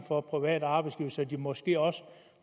for private arbejdsgivere så de måske også